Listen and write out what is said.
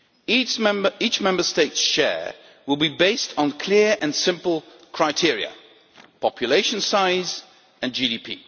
Each Member State's share will be based on clear and simple criteria population size and GDP.